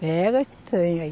Pega, se tem aí.